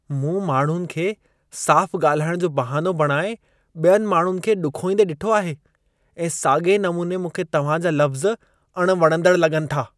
मूं माण्हुनि खे साफ़ु ॻाल्हाइण जो बहानो बणाए ॿियनि माण्हुनि खे ॾुखोईंदे ॾिठो आहे ऐं साॻिए नमूने मूंखे तव्हांजा लफ़्ज़ अणवणंदड़ लॻनि था।